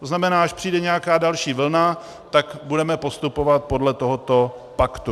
To znamená, až přijde nějaká další vlna, tak budeme postupovat podle tohoto paktu.